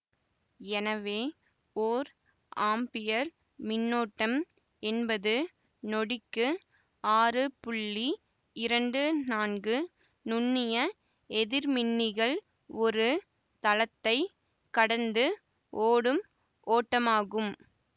எனவே ஓர் ஆம்பியர் மின்னோட்டம் என்பது நொடிக்கு ஆறு புள்ளி இரண்டு நான்கு நுண்ணிய எதிர்மின்னிகள் ஒரு தளத்தை கடந்து ஓடும் ஓட்டமாகும்